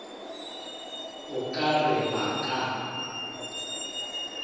o ka re ba ka